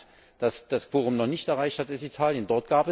Ein Land, das das Quorum noch nicht erreicht hat, ist Italien.